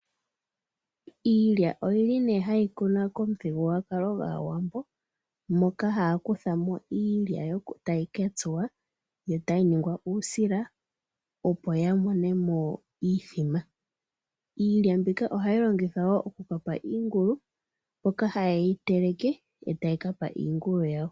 Iilya oyili nee hayi kunwa komuthigululwakalo gwaawambo. Moka haya kutha mo iilya tayi ka tsuwa yo tayi ningwa uusila, opo ya mone mo iithima. Iilya ohayi longithwa wo oku pa iingulu moka haye yi teleke etaya ka pa iingulu yawo .